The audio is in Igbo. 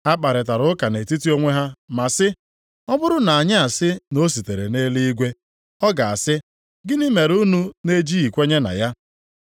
Ha kparịtara ụka nʼetiti onwe ha ma sị, “Ọ bụrụ na anyị asị na o sitere nʼeluigwe, ọ ga-asị, ‘Gịnị mere unu na-ejighị kwenye na ya?’